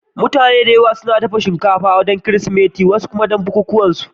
Mutane da yawa suna dafa shinkafa don Kirsimeti ko wasu bukukuwa.